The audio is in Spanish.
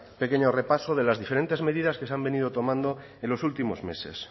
pequeño repaso de las diferentes medidas que se han venido tomando en los últimos meses